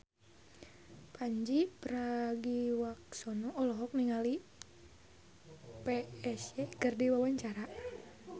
Pandji Pragiwaksono olohok ningali Psy keur diwawancara